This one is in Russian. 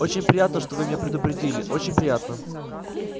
очень приятно что вы меня предупредили очень приятно